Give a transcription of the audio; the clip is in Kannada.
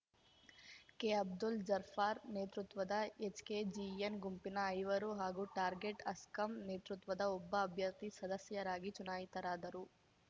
ಕೆಅಬ್ದುಲ್‌ ಜಬ್ಬಾರ್‌ ನೇತೃತ್ವದ ಎಚ್‌ಕೆಜಿಎನ್‌ ಗುಂಪಿನ ಐವರು ಹಾಗೂ ಟಾರ್ಗೆಟ್‌ ಅಸ್ಕಾಂ ನೇತೃತ್ವದ ಒಬ್ಬ ಅಭ್ಯರ್ಥಿ ಸದಸ್ಯರಾಗಿ ಚುನಾಯಿತರಾದರು